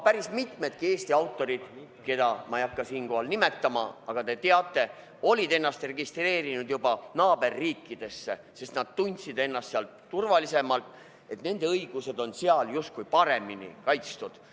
Päris mitmed Eesti autorid, keda ma ei hakka siinkohal nimetama, aga keda te teate, olid ennast juba registreerinud naaberriikidesse, sest nad tundsid ennast seal turvalisemalt, tundsid, et nende õigused on seal justkui paremini kaitstud.